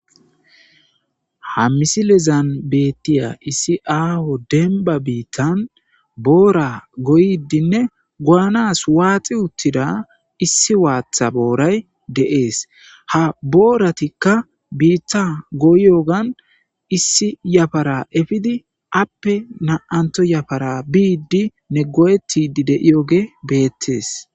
Ha misilezan beettiya issi aaho dembba biittan boora goyiidinne goyaanas waaxi uttida issi waatha booray de7ees. Ha booratikka biitta goyoogan issi yafara efidi appe na7antho yafara biiddinne go'ettidi de'iyoge beettees.